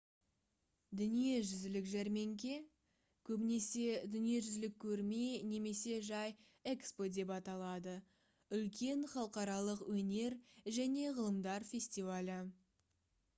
дүниежүзілік жәрмеңке көбінесе дүниежүзілік көрме немесе жай экспо деп аталады — үлкен халықаралық өнер және ғылымдар фестивалі